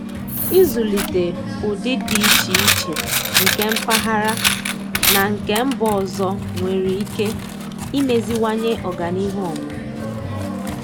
Ịzụlite ụdị dị iche iche nke mpaghara na nke mba ọzọ nwere ike imeziwanye ọganihu ọmụmụ.